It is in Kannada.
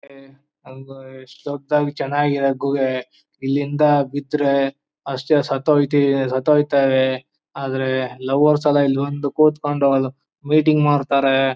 ಎಷ್ಟು ದೊಡ್ಡದಾಗಿ ಚೆನ್ನಾಗಿದೆ ಗುಹೆ ಇಲ್ಲಿಂದ ಬಿದ್ದರೆ ಅಷ್ಟೇ ಸತ್ತೋಯ್ತೀವಿ ಸತ್ತೋಯ್ತಾರೆ ಆದರೆ ಲವರ್ಸೆಲ್ಲ ಇಲ್ಲಿ ಬಂದು ಕೂತ್ಕೊಂಡು ಮೀಟಿಂಗ್ ಮಾಡ್ತಾರೆ.